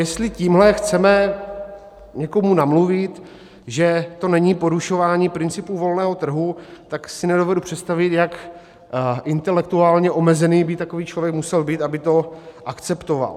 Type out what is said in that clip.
Jestli tímhle chceme někomu namluvit, že to není porušování principů volného trhu, tak si nedovedu představit, jak intelektuálně omezený by takový člověk musel být, aby to akceptoval.